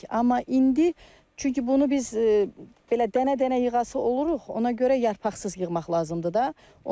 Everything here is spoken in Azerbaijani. Amma indi çünki bunu biz belə dənə-dənə yığası oluruq, ona görə yarpaqsız yığmaq lazımdır da.